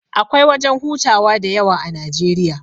Akwai wajan hutawa da yawa a Najeriya